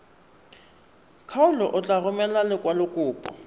kgaolo o tla romela lekwalokopo